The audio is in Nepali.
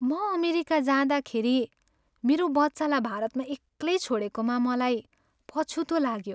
म अमेरिका जाँदाखेरि मेरो बच्चालाई भारतमा एक्लै छोडेकोमा मलाई पछुतो लाग्यो।